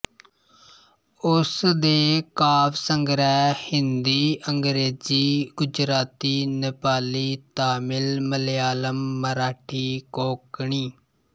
ਉਸ ਦੇ ਕਾਵਿ ਸੰਗ੍ਰਹਿ ਹਿੰਦੀ ਅੰਗ੍ਰੇਜ਼ੀ ਗੁਜਰਾਤੀ ਨੇਪਾਲੀ ਤਾਮਿਲ ਮਲਿਆਲਮ ਮਰਾਠੀ ਕੋਂਕਣੀ